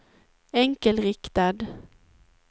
enkelriktad